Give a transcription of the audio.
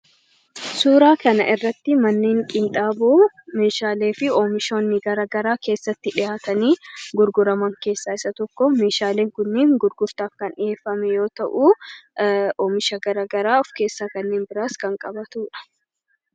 Suuraa kanarratti manneen qinxaaboo meeshaalee fi oomishoonni garaagaraa keessatti dhiyaatanii gurguraman keessaa tokko. Meeshaaleen kunneen gurgurtaaf kan dhiyeeffame yoo ta'u, oomisha gara biraas kan of keessatti qabatudha.